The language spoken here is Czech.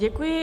Děkuji.